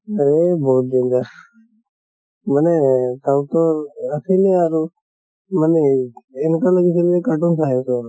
হেই বহুত danger মানে south ৰ আছিলে আৰু মানে এনেকুৱা লাগিছিল যে cartoon চাই আছো আৰু।